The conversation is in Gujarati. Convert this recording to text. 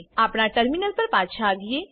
આપણા ટર્મિનલ પર પાછા આવીએ